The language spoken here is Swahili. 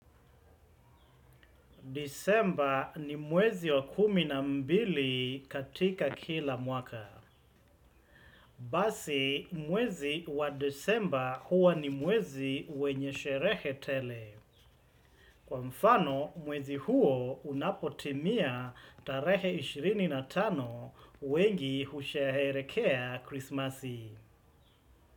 December ni mwezi wa kumi na mbili katika kila mwaka. Basi, mwezi wa December huwa ni mwezi wenye sherehe tele. Kwa mfano, mwezi huo unapotimia tarehe ishirini na tano wengi husheherekea krismasi.